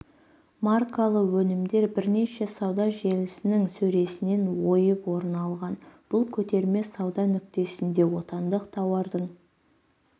маркалы өнімдер бірнеше сауда желісінің сөресінен ойып орын алған бұл көтерме сауда нүктесінде отандық тауардың